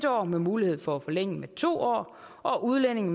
år med mulighed for forlængelse med to år og udlændinge